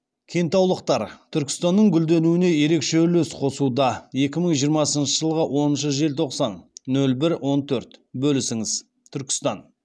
кентаулықтар түркістанның гүлденуіне ерекше үлес қосуда екі мың жиырмасыншы жылғы оныншы желтоқсан нөл бір он төрт бөлісіңіз түркістан